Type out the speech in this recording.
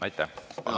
Aitäh!